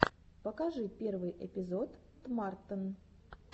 покажи первый эпизод тмартн